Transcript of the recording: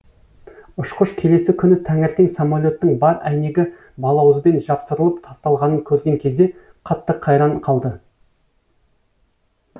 ұшқыш келесі күні таңертең самолеттің бар әйнегі балауызбен жапсырылып тасталғанын көрген кезде қатты қайран қалды